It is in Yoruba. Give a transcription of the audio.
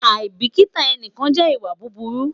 aibikita ẹnikan jẹ iwa buburu